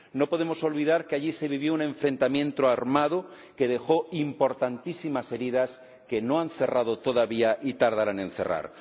No podemos olvidar que allí se vivió un enfrentamiento armado que dejó importantísimas heridas que no han cerrado todavía y tardarán en cerrar.